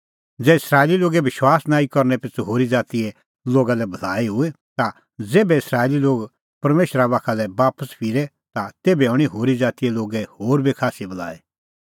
ज़ै इस्राएली लोगे विश्वास नांईं करनै पिछ़ू होरी ज़ातीए लोगा लै भलाई हुई ता ज़ेभै इस्राएली लोग परमेशरा बाखा लै बापस फिरे ता तेभै हणीं होरी ज़ातीए लोगे होर बी खास्सी भलाई